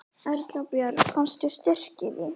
Erla Björg: Fannstu styrk í því?